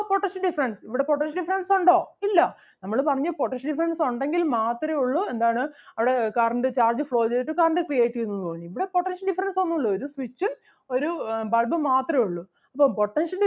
potential difference ഇവിടെ potential difference ഒണ്ടോ ഇല്ല നമ്മള് പറഞ്ഞു potential difference ഒണ്ടെങ്കിൽ മാത്രേ ഒള്ളു എന്താണ് അവിടെ current charge flow ചെയ്തിട്ട് current create ചെയ്യുന്നു എന്ന് പറഞ്ഞു. ഇവിടെ potential difference ഒന്നൂല്ല ഒരു switch ഉം ഒരു ആഹ് bulb ഉം മാത്രേ ഒള്ളു. അപ്പോ potential